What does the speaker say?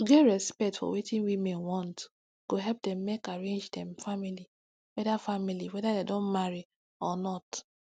to get respect for wetin women want go help dem make arrange dem family weda family weda dem don marry or not